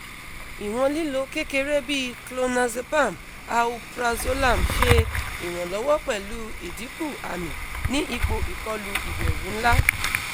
iwon lilo kekere bi clonazepam alprazolam se iranlowo pelu idinku ami ni ipo ikolu iberu nla